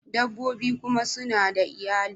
Dabbobi kuma suna da iyali